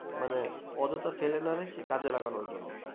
মানে অযথা ফেলে না রেখে কাজে লাগানো জন্য